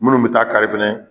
Minnu bi taa kari fɛnɛ